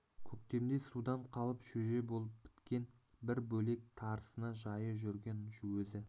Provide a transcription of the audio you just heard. көктемде судан қалып шөже болып біткен бір бөлек тарысына жайы жүрген өзі